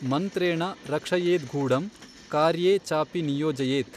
ಮನ್ತ್ರೇಣ ರಕ್ಷಯೇದ್ಗೂಢಂ ಕಾರ್ಯೇ ಚಾಪಿ ನಿಯೋಜಯೇತ್।